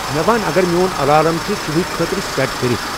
مے ون اگر میون الارام چُھ صبحٲکۍ خٲطرٕ سیٹ کٔرِتھ ؟